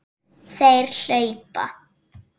Þeir hlaupa!